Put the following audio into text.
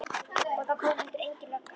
Og það kom heldur engin lögga.